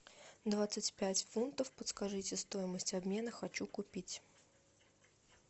двадцать пять фунтов подскажите стоимость обмена хочу купить